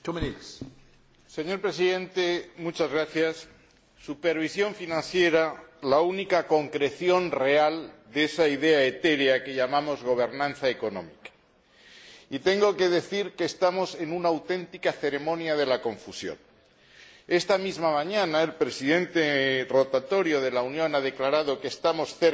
Señor Presidente, quiero hablar de la supervisión financiera, la única concreción real de esa idea etérea que llamamos gobernanza económica, y tengo que decir que estamos en una auténtica ceremonia de la confusión. Esta misma mañana, el Presidente rotatorio de la Unión ha declarado que estamos cerca de un acuerdo.